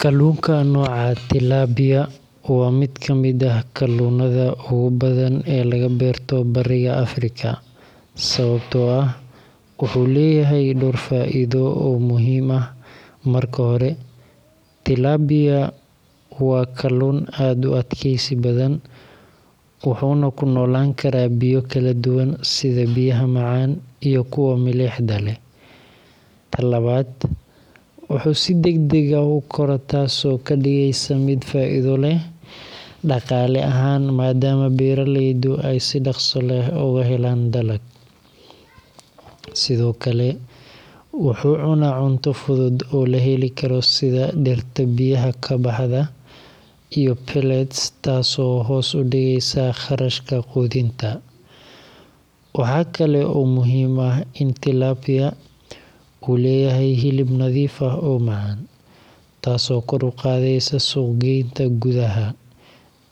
Kalluunka nooca tilapia waa mid ka mid ah kalluunada ugu badan ee laga beerto bariga Afrika, sababtoo ah wuxuu leeyahay dhowr faa’iido oo muhiim ah. Marka hore, tilapia waa kalluun aad u adkaysi badan, wuxuuna ku noolaan karaa biyo kala duwan sida biyaha macaan iyo kuwa milixda leh. Ta labaad, wuxuu si degdeg ah u koraa, taasoo ka dhigaysa mid faa’iido leh dhaqaale ahaan maadaama beeraleydu ay si dhakhso leh uga helaan dalag. Sidoo kale, wuxuu cunaa cunto fudud oo la heli karo, sida dhirta biyaha ka baxda iyo pellets, taasoo hoos u dhigaysa kharashka quudinta. Waxa kale oo muhiim ah in tilapia uu leeyahay hilib nadiif ah oo macaan, taasoo kor u qaadaysa suuq-geynta gudaha